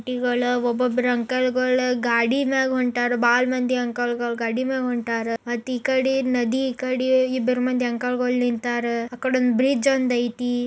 ಗಾಡಿಗಳ ಒಬೊಬ್ಬರೇ ಅಂಕಲ್ ಗಳು ಗಾಡಿನಾಗ್ ಹೊಂಟರು ಭಾಳ್ ಮಂದಿ ಅಂಕಲ್ ಗಳು ಗಾಡಿನಾಗ್ ಹೊಂಟರು ಮತ್ತಿ ಕಾದಿ ನದಿ ಇಬ್ಬರು ಅಂಕಲ್ ಗಳು ನಿಂತರ್ ಮತ್ತಿ ಈ ಕಾದಿ ಬ್ರಿಡ್ಜ್ ಒಂದ್ ಐತಿ.